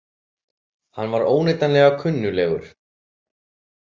Hann var óneitanlega kunnuglegur.